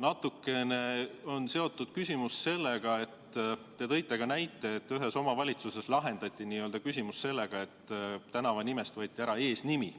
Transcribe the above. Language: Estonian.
natukene on küsimus seotud sellega, et te tõite näite, kui ühes omavalitsuses lahendati küsimus nii, et tänavanimest võeti ära eesnimi.